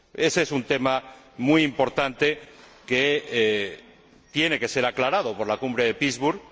Ése es un tema muy importante, que tiene que ser aclarado por la Cumbre de Pittsburgh.